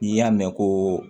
N'i y'a mɛn ko